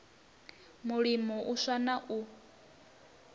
mulimo u swa na u